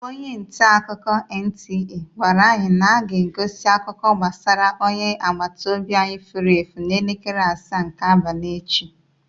Onye ntaakụkọ NTA gwara anyị na aga-egosi akụkọ gbasara onye agbata obi anyị fụrụ efu n'elekere asaa nke abalị echi.